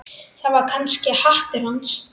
Það var kannski háttur hans.